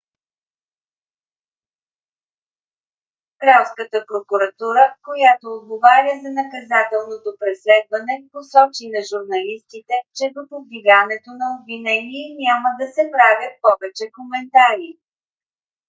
кралската прокуратура която отговаря за наказателното преследване посочи на журналистите че до повдигането на обвинение няма да се правят повече коментари